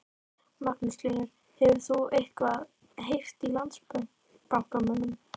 Magnús Hlynur: Hefur þú eitthvað heyrt í Landsbankamönnum?